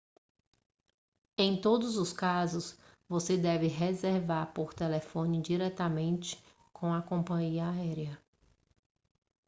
em todos os casos você deve reservar por telefone diretamente com a companhia aérea